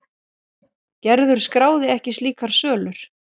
Gerður skráði ekki slíkar sölur.